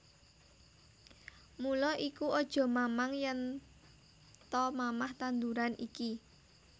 Mula iku aja mamang yèn ta mamah tanduran iki